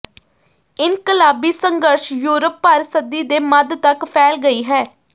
ਇਨਕਲਾਬੀ ਸੰਘਰਸ਼ ਯੂਰਪ ਭਰ ਸਦੀ ਦੇ ਮੱਧ ਤੱਕ ਫੈਲ ਗਈ ਹੈ